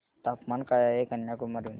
तापमान काय आहे कन्याकुमारी मध्ये